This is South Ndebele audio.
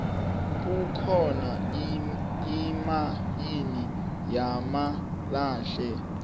kukhona imayini yamalahle